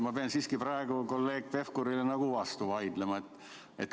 Ma pean siiski praegu kolleeg Pevkurile vastu vaidlema.